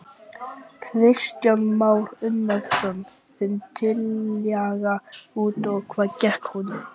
Kristján Már Unnarsson: Þín tillaga, út á hvað gekk hún?